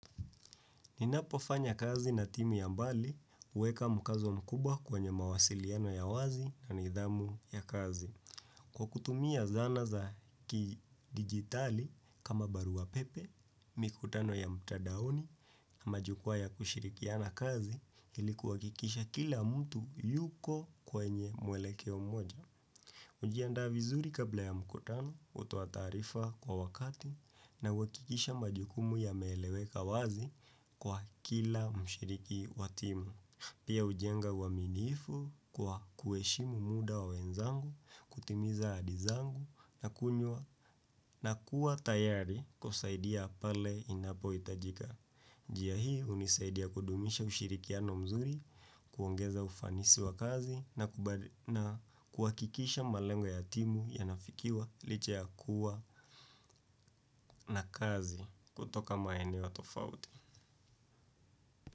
Ninapofanya kazi na timu ya mbali huweka mkazo mkubwa kwenye mawasiliano ya wazi na nidhamu ya kazi. Kwa kutumia zana za kidigitali kama barua pepe, mikutano ya mtandaoni, majukwaa ya kushirikiana kazi ilikuwa kikisha kila mtu yuko kwenye muelekeo mmoja. Hujianda vizuri kabla ya mkutano, hutoa taarifa kwa wakati na uhakikisha majukumu yameeleweka wazi kwa kila mshiriki wa timu. Pia hujenga uaminifu kwa kuheshimu muda wa wenzangu, kutimiza ahadi zangu na kuwa tayari kusaidia pale inapohitajika. Njia hii unisaidia kudumisha ushirikiano mzuri, kuongeza ufanisi wa kazi na kuhakikisha malengo ya timu yanafikiwa licha ya kuwa na kazi kutoka maeneno tofauti.